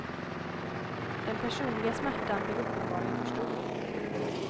Den personliga smärtan blev uppenbarligen för stor.